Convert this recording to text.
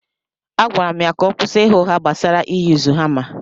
Agwara m ya ka ọ kwụsị ịgha ụgha gbasara ị yuzu hama.